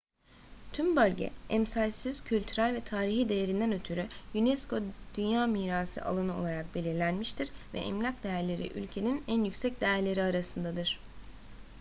tüm bölge emsalsiz kültürel ve tarihi değerinden ötürü unesco dünya mirası alanı olarak belirlenmiştir ve emlak değerleri ülkenin en yüksek değerleri arasındadır